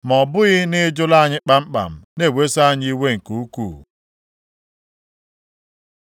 ma ọ bụghị na ị jụla anyị kpamkpam na-eweso anyị iwe nke ukwu.